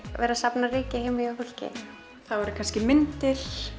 vera að safna ryki heima hjá fólki það eru kannski myndir